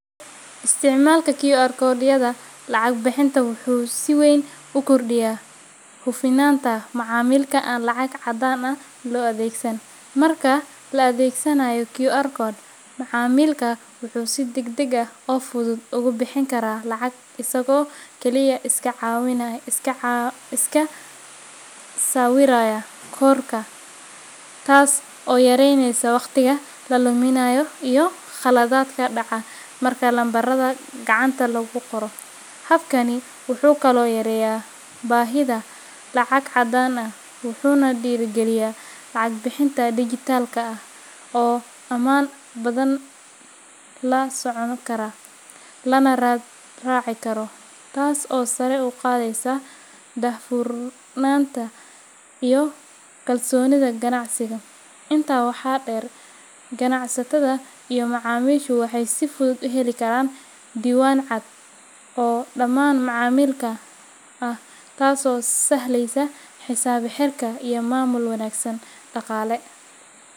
Isticmaalka QR code-yada lacag-bixinta wuxuu si weyn u kordhiyaa hufnaanta macaamilka aan lacag caddaan ah loo adeegsan. Marka la adeegsanayo QR code, macaamilka wuxuu si degdeg ah oo fudud ugu bixin karaa lacag isagoo kaliya iska sawiraya koodhka, taas oo yareyneysa waqtiga la luminayo iyo khaladaadka dhaca marka lambarada gacanta lagu qoro. Habkani wuxuu kaloo yareeyaa baahida lacag caddaan ah, wuxuuna dhiirrigeliyaa lacag-bixinta dijitaalka ah oo ammaan badan, la socon kara, lana raad raaci karo, taas oo sare u qaadaysa daahfurnaanta iyo kalsoonida ganacsiga. Intaa waxaa dheer, ganacsatada iyo macaamiishu waxay si fudud u heli karaan diiwaan cad oo dhammaan macaamillada ah, taasoo sahlaysa xisaab-xirka iyo maamul wanaagga dhaqaale.